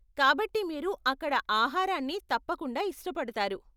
కాబట్టి మీరు అక్కడ ఆహారాన్ని తప్పకుండా ఇష్టపడతారు.